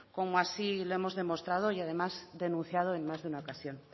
como así lo hemos demostrado y además denunciado en más de una ocasión